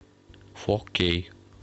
фо кей